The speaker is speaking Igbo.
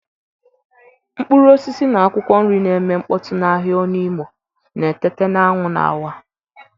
Mkpụrụ osisi na akwụkwọ nri na-eme mkpọtụ n'ahịa Onu imo na-eteta na anwụ na-awa.